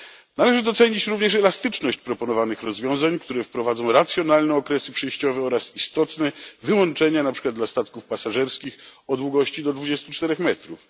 Należy docenić również elastyczność proponowanych rozwiązań, które wprowadzą racjonalne okresy przejściowe oraz istotne wyłączenia, na przykład dla statków pasażerskich o długości do 24 metrów.